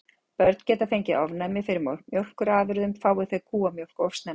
Börn geta fengið ofnæmi fyrir mjólkurafurðum fái þau kúamjólk of snemma.